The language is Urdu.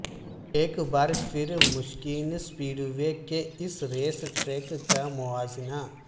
ایک بار پھر مشکین سپیڈ وے کے اس ریس ٹریک کا موازنہ